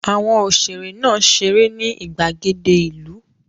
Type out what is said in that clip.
Àwọn òṣèrè náà ṣeré ní ìgbàgede ìlú.